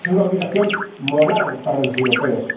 para los europeos es una obligación moral